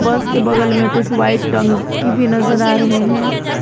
बस के बगल में कुछ व्हाइट टंकी भी नजर आ रहे हैं।